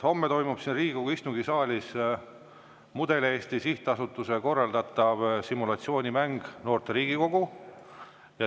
Homme toimub siin Riigikogu istungisaalis Mudel-Eesti Sihtasutuse korraldatav simulatsioonimäng "Noorte Riigikogu".